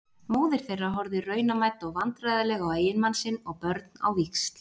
Móðir þeirra horfði raunamædd og vandræðaleg á eiginmann sinn og börn á víxl.